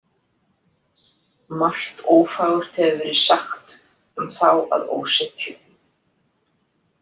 Margt ófagurt hefur verið sagt um þá að ósekju.